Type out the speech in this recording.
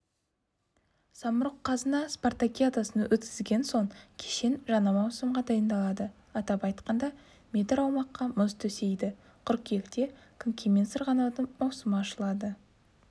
самұрық-қазына спартакиадасын өткізген соң кешен жаңа маусымға дайындалады атап айтқанда метр аумаққа мұз төсейді қыркүйекте конькимен сырғанаудың маусымы ашылады